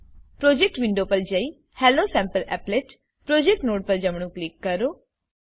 project window પર જયી હેલોસેમ્પલીપલેટ પ્રોજેક્ટ નોડ પર જમણું કિલ કરો